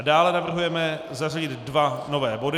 A dále navrhujeme zařadit dva nové body.